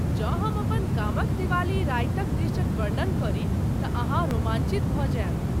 जँ हम अपन गामक दिवाली रातिक दृश्यक वर्णन करी तऽ अहाँ रोमांचित भऽ जायब।